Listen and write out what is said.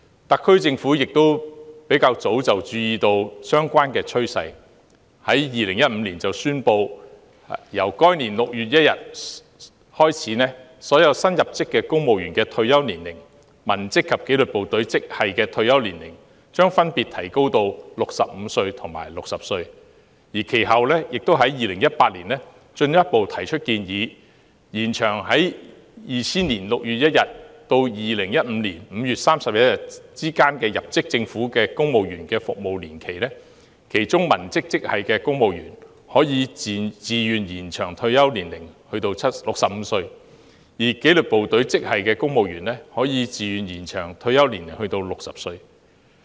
特區政府亦早已注意到這趨勢，並在2015年宣布由該年6月1日開始，所有新入職的公務員、文職及紀律部隊職系的退休年齡將分別提高至65歲及60歲，其後在2018年更進一步提出建議，延長在2000年6月1日至2015年5月31日之間入職政府的公職員服務年期，其中文職職系的公務員可以自願延長退休年齡至65歲，而紀律部隊職系的公務員則可以自願延長退休年齡至60歲。